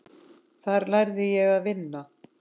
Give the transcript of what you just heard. Þar lærði ég að vinna.